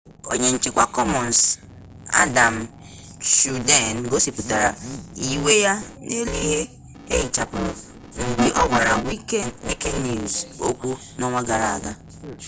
onye nchikwa commons adam cuerden gosiputara iwe ya n'elu ihe eghichapuru mgbe ogwara wikinews okwu n'onwa gara gara